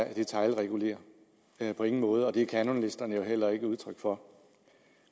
ikke detailregulere på ingen måde det er kanonlisterne jo heller ikke udtryk for